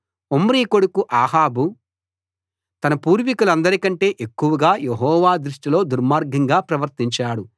Omri కొడుకు Ahab తన పూర్వికులందరికంటే ఎక్కువగా యెహోవా దృష్టిలో దుర్మార్గంగా ప్రవర్తించాడు